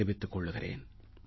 தெரிவித்துக் கொள்கிறேன்